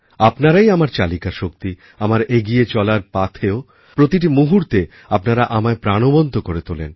আপনারাই আমার চালিকাশক্তি আমারএগিয়ে চলার পাথেয় প্রতি মুহূর্তে আপনারা আমায় প্রাণবন্ত করে তোলেন